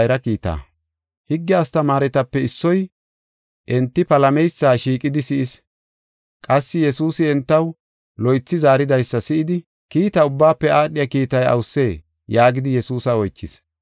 Higge astamaaretape issoy enti palameysa shiiqidi si7is. Qassi Yesuusi entaw loythi zaaridaysa si7idi, “Kiita ubbaafe aadhiya kiitay awusee?” yaagidi Yesuusa oychis.